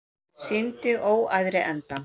Sýndi óæðri endann